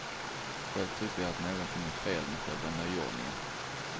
Själv tycker jag att någonting är fel med själva nyordningen.